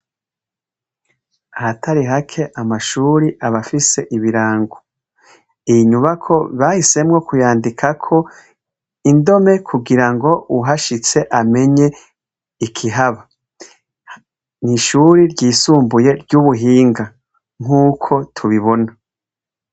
Hatari hake amashuri abafise ibirango iyi inyubako bahisemwo kuyandikako indome kugira ngo uhashitse umenye ikihaba ni ishuri ryisumbuye ry'ubuhinga nk'uko tubibona.